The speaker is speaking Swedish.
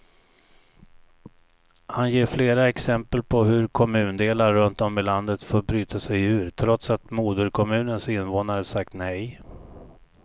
Han ger flera exempel på hur kommundelar runt om i landet fått bryta sig ur, trots att moderkommunens invånare sagt nej.